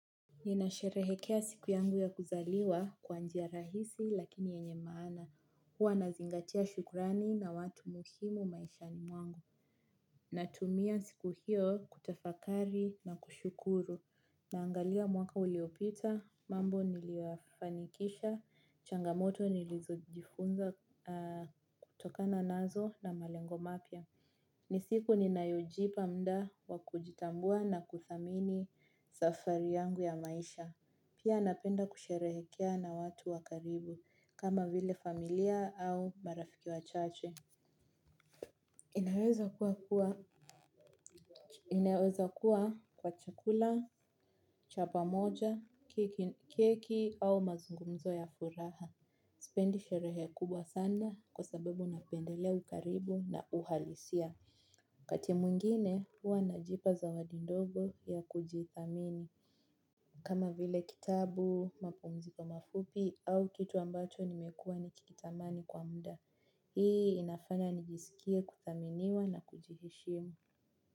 Ninasherehekea siku yangu ya kuzaliwa kwa njia rahisi lakini yenye maana. Huwa nazingatia shukrani na watu muhimu maishani mwangu. Natumia siku hiyo kutafakari na kushukuru. Naangalia mwaka uliopita, mambo niliyoyafanikisha, changamoto nilizojifunza kutokana nazo na malengo mapya. Ni siku ninayojipa mda wa kujitambua na kuthamini safari yangu ya maisha. Pia napenda kusherehekea na watu wa karibu kama vile familia au marafiki wachache. Inaweza kuwa kuwa inawezakuwa kwa chakula, chapa moja, keki au mazungumzo ya furaha. Sipendi sherehe kubwa sana kwa sababu napendelea ukaribu na uhalisia wakati mwingine huwa najipa zawadi ndogo ya kujithamini kama vile kitabu mapumziko mafupi au kitu ambacho nimekua nikikitamani kwa mda. Hii inafanya nijisikie kuthaminiwa na kujiheshimu.